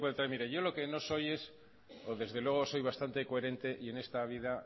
yo yo lo que no soy es desde luego soy bastante coherente y en esta vida